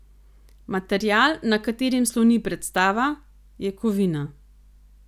Material, na katerem sloni predstava, je kovina.